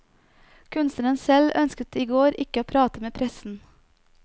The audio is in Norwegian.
Kunstneren selv ønsket i går ikke å prate med pressen.